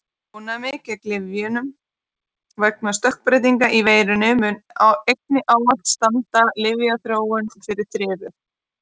Ónæmi gegn lyfjum vegna stökkbreytinga í veirum mun einnig ávallt standa lyfjaþróun fyrir þrifum.